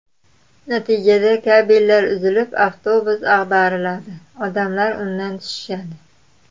Natijada kabellar uzilib, avtobus ag‘dariladi, odamlar undan tushishadi.